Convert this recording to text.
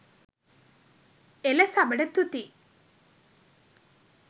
එල සබට තුති